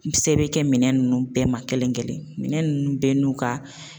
Se bɛ bɛ kɛ minɛn ninnu bɛɛ ma kelen kelen minɛ ninnu bɛɛ n'u ka